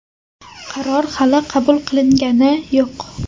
Qaror hali qabul qilingani yo‘q.